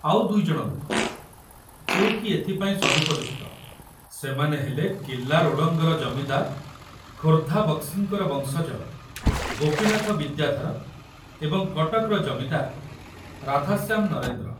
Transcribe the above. ଆଉ ଦୁଇଜଣ ଲୋକ, ଯେ କି ଏଥିପାଇଁ ସଦୁପଯୁକ୍ତ, ସେମାନେ ହେଲେ କିଲ୍ଲା ରୋଡ଼ଙ୍ଗର ଜମିଦାର, ଖୋର୍ଦ୍ଧା ବକ୍ସିଙ୍କର ବଂଶଜ ଗୋପୀନାଥ ବିଦ୍ୟାଧର ଏବଂ କଟକର ଜମିଦାର ରାଧାଶ୍ୟାମ ନରେନ୍ଦ୍ର।